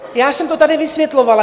Já jsem to tady vysvětlovala.